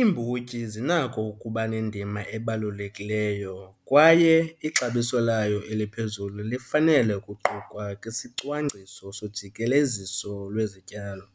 Imbotyi zinakho ukuba nendima ebalulekileyo kwaye ixabiso layo eliphezulu lifanele ukuqukwa kwisicwangciso sojikeleziso wezityalo.